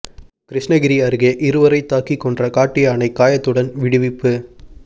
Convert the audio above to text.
கிருஷ்ணகிரி அருகே இருவரை தாக்கிக் கொன்ற காட்டு யானை காயத்துடன் விடுவிப்பு